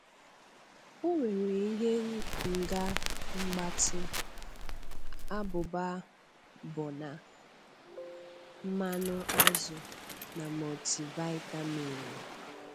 Ọ nwere ihe Nga mgbatị, [?[ abụba bọna, mmanụ azụ, na mọtịvịtaminu.